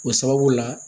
O sababu la